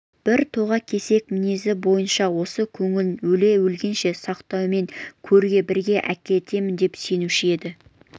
бір тоға кесек мінезі бойынша осы көңілін өле-өлгенше сақтаумен көрге бірге әкетемін деп сенуші еді